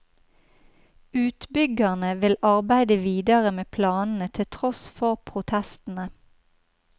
Utbyggerne vil arbeide videre med planene til tross for protestene.